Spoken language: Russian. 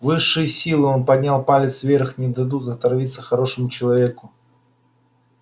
высшие силы он поднял палец вверх не дадут отравиться хорошему человеку